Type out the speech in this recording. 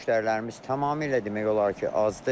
Müştərilərimiz tamamilə demək olar ki, azdır.